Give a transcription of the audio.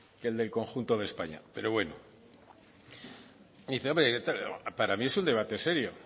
que el del conjunto de españa pero bueno y dice hombre para mí es un debate serio